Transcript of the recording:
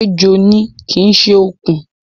Ejò ni, kì í ṣe okùn